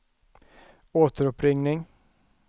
återuppringning